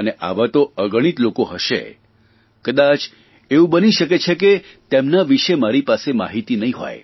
અને આવા તો અગણિત લોકો હશે કદાચ એવું બની શકે છે કે તેમના વિષે મારી પાસે માહિતી નહીં હોય